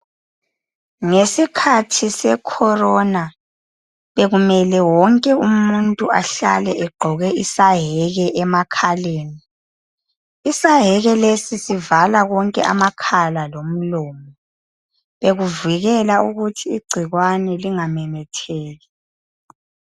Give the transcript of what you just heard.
Ngesikhathi seCorona bekumele wonke umuntu ahlale egqoke isayeke emakhaleni. Isayeke lesi sivala konke amakhala lomlomo bekuvikela ukuthi igcikwane lingamemetheki.